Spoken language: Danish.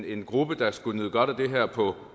en gruppe der skulle nyde godt af det her på